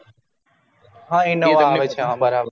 હા innova આવે છે બરાબર